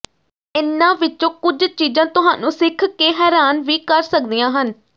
ਇਨ੍ਹਾਂ ਵਿੱਚੋਂ ਕੁਝ ਚੀਜ਼ਾਂ ਤੁਹਾਨੂੰ ਸਿੱਖ ਕੇ ਹੈਰਾਨ ਵੀ ਕਰ ਸਕਦੀਆਂ ਹਨ